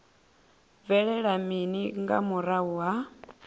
bvelela mini nga murahu ha